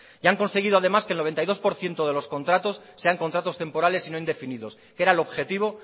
y han conseguido además que el noventa y dos por ciento de los contratos sean contratos temporales y no indefinidos que era el objetivo